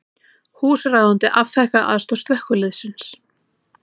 Húsráðandi afþakkaði aðstoð slökkviliðsins